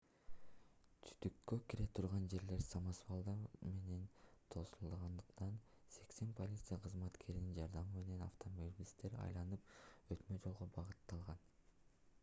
түтүккө кире турган жерлер самосвалдар менен тосулгандыктан 80 полиция кызматкеринин жардамы менен автомобилисттер айланып өтмө жолго багытталган